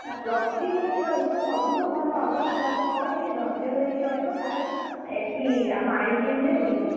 ଆଉ plus three ଯଦି କରିବ ସବୁଠୁ ଭଲ ହବ ତୁ ତାକୁ କହ ଟିକେ ଧୈର୍ଯ୍ୟ ଧରିକି ରହିବ ତାର ଏଠି ଆମ IGM ରେ ହେଇଯିବ।